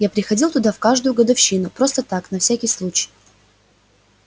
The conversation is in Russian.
я приходил туда в каждую годовщину просто так на всякий случай